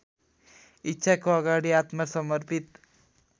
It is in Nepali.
इच्छाको अगाडि आत्मसमर्पित